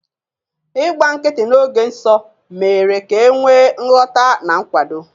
Ịgba nkịtị n'oge nsọ mere ka e nwee nghọta na nkwado.